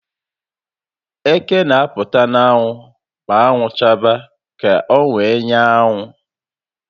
Eké n'apụta n'anwụ ma anwụ chaba ka owee nyara anwụ